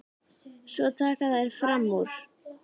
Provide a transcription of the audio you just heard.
Svo taka þær fram úr.